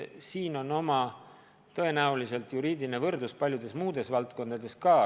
Siin on ju tõenäoliselt võimalik juriidiline võrdlus paljude muude valdkondadega ka.